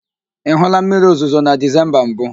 Ị hụụla mmiriozuzo na Dizemba mbụ?